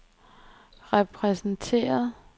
repræsenteret